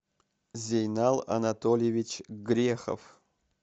зейнал анатольевич грехов